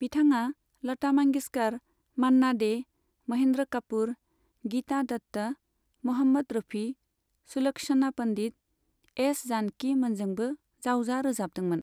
बिथाङा लता मांगेशकर, मान्ना डे, महेन्द्र कापूर, गीता दत्त, म'हम्मद रफी, सुलक्षणा पन्डित, एस जानकी मोनजोंबो जावजा रोजाबदोंमोन।